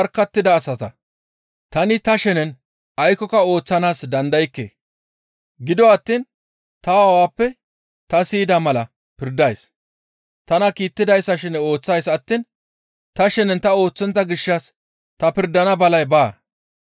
«Tani ta shenen aykkoka ooththanaas dandaykke; gido attiin ta aawappe ta siyida mala pirdays. Tana kiittidayssa shene ooththays attiin ta shenen ta ooththontta gishshas ta pirdan balay baa.